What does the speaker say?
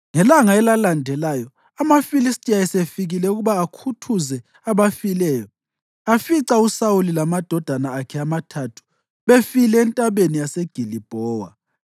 Ngelanga elalandelayo, amaFilistiya esefikile ukuba akhuthuze abafileyo, afica uSawuli lamadodana akhe amathathu befile eNtabeni yase Gilibhowa.